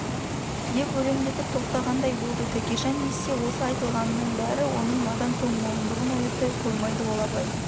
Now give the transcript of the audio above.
деп өлендетіп тоқтағандай болды тәкежан естісе осы айтылғанының бәрі оның надан тоңмойындығын оятпай қоймайды ол абай